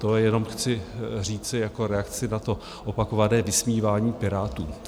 To jenom chci říci jako reakci na to opakované vysmívání Pirátům.